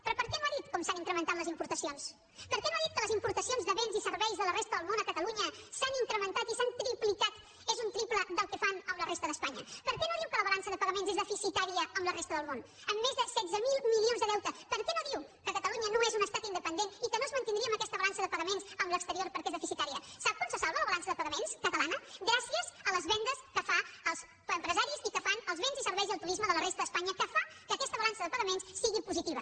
però per què no ha dit com s’han incrementat les importacions per què no ha dit que les importacions de béns i serveis de la resta del món a catalunya s’han incrementat i s’han triplicat és un triple del que fan amb la resta d’espanya per què no diu que la balança de pagaments és deficitària amb la resta del món amb més de setze mil milions de deute per què no diu que catalunya no és un estat independent i que no es mantindria amb aquesta balança de pagaments amb l’exterior perquè és deficitària sap com se salva la balança de pagaments catalana gràcies a les vendes que fan els empresaris i que fan els béns i serveis i el turisme de la resta d’espanya que fan que aquesta balança de pagaments sigui positiva